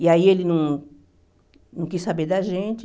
E aí ele não não quis saber da gente.